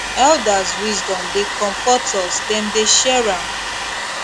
elders wisdom dey comfort us dem dey share am